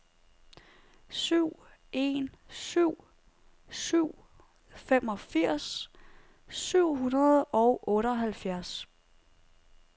syv en syv syv femogfirs syv hundrede og otteoghalvfjerds